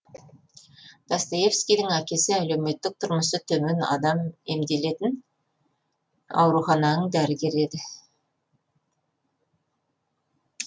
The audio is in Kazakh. достоевскийдің әкесі әлеуметтік тұрмысы төмен адам емделетін аурухананың дәрігері еді